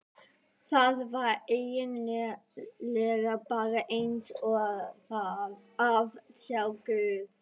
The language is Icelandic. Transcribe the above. Það var eigin lega bara eins og að sjá guð.